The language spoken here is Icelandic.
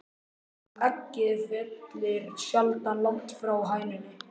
Að eggið fellur sjaldan langt frá hænunni!